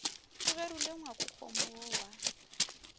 o gerule ngwakokgomo wo wa